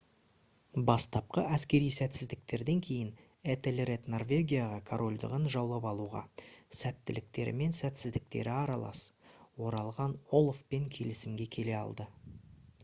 бастапқы әскери сәтсіздіктерден кейін этельред норвегияға корольдығын жаулап алуға сәттіліктері мен сәтсіздіктері аралас оралған олафпен келісімге келе алды